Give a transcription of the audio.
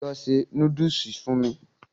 Lọ se núdùsù fún mu.